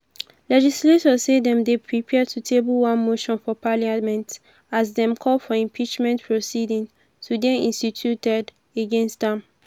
legislators say dem dey prepare to table one motion for parliament as dem call for impeachment proceedings to dey instituted against am.